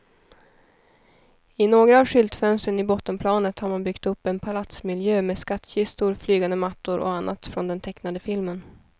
I några av skyltfönstren i bottenplanet har man byggt upp en palatsmiljö med skattkistor, flygande mattor och annat från den tecknade filmen.